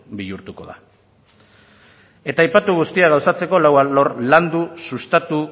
bihurtuko da eta aipatu guztia gauzatzeko lau alor landu sustatu